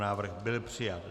Návrh byl přijat.